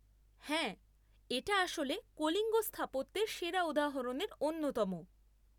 হ্যাঁ, এটা আসলে কলিঙ্গ স্থাপত্যের সেরা উদাহরণের অন্যতম।